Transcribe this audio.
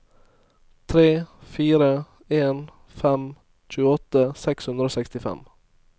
tre fire en fem tjueåtte seks hundre og sekstifem